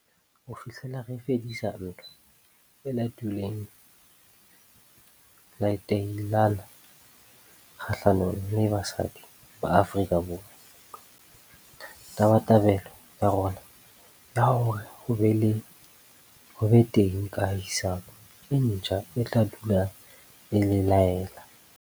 Ho fihlela re fedisa ntwa e latilweng letailana kgahlanong le basadi ba Afrika Borwa, tabatabelo ya rona ya hore ho be teng kahisano e ntjha e tla dula e le lelea.